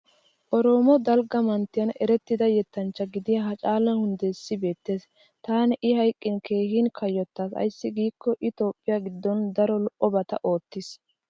Oromo dalgga manttiyan erettida yettanchcha gidiya hacaalu hunddeessi beettes. Taani i hayqqin keehin kayyottaas ayssi giikko i toophphiya giddon daro lo'obata oottis.